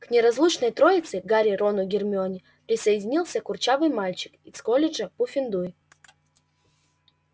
к неразлучной троице гарри рону гермионе присоединился курчавый мальчик из колледжа пуффендуй